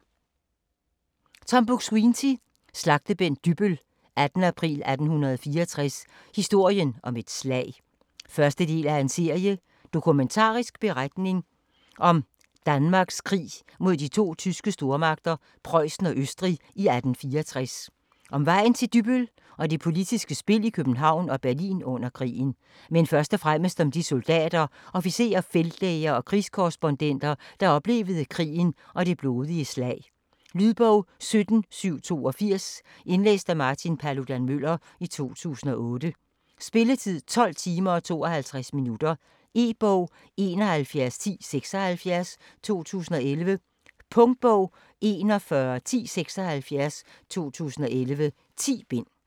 Buk-Swienty, Tom: Slagtebænk Dybbøl: 18. april 1864: historien om et slag 1. del af serie. Dokumentarisk beretning om Danmarks krig mod to tyske stormagter, Prøjsen og Østrig i 1864 - om vejen til Dybbøl og det politiske spil i København og Berlin under krigen. Men først og fremmest om de soldater, officerer, feltlæger og krigskorrespondenter, der oplevede krigen og det blodige slag. Lydbog 17782 Indlæst af Martin Paludan-Müller, 2008. Spilletid: 12 timer, 52 minutter. E-bog 711076 2011. Punktbog 411076 2011. 10 bind.